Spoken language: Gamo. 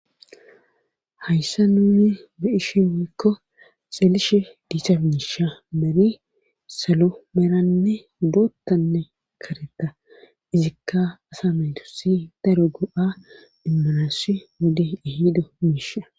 Hayssa nuni be ishi woykko xeelishe diisa miisha meri salo meeranne boottanne kareta izikka asamaytusi daro go'a immanassi wode ihido miisha.